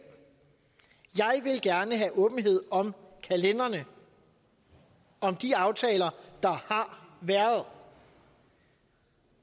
gerne have åbenhed om kalenderne om de aftaler der har været